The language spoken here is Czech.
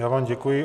Já vám děkuji.